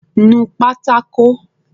Nu pátákó!